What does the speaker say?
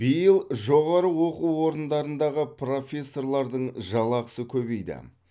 биыл жоғары оқу орындарындағы профессорлардың жалақысы көбейді